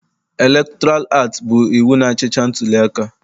Elektoral aktị bụ iwu na-achịcha ntuliaka.